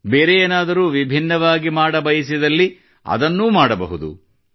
ಬೇರೆ ಏನಾದರೂ ವಿಭಿನ್ನವಾಗಿ ಮಾಡಬಯಸಿದಲ್ಲಿ ಅದನ್ನೂ ಮಾಡಬಹುದು